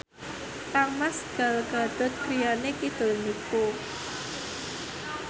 kangmas Gal Gadot griyane kidul niku